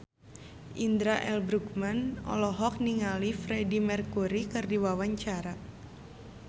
Indra L. Bruggman olohok ningali Freedie Mercury keur diwawancara